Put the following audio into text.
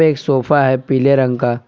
एक सोफ़ा है पीले रंग का--